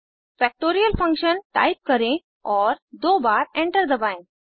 factorial Function type करें और दो बार एंटर दबाएं